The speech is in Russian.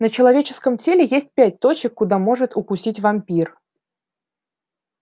на человеческом теле есть пять точек куда может укусить вампир